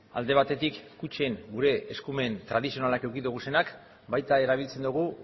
alde batetik kutxen gure eskumen tradizionalak eduki ditugunak baita erabiltzen dugu